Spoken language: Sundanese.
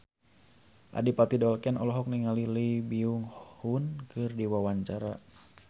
Adipati Dolken olohok ningali Lee Byung Hun keur diwawancara